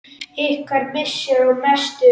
Ykkar missir er mestur.